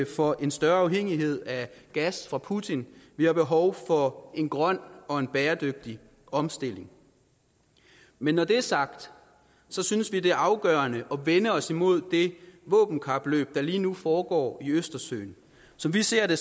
for en større afhængighed af gas fra putin vi har behov for en grøn og en bæredygtig omstilling men når det er sagt synes vi det er afgørende at vende os imod det våbenkapløb der lige nu foregår i østersøen som vi ser det